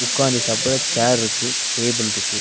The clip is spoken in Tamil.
ஒக்காந்து சாப்பற சேர் ருக்கு டேபிள் இருக்கு.